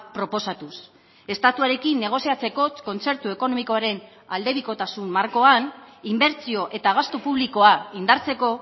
proposatuz estatuarekin negoziatzeko kontzertu ekonomikoaren aldebikotasun markoan inbertsio eta gastu publikoa indartzeko